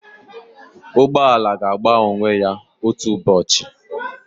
Ụgbọ ala ga-agba onwe ya otu ụbọchị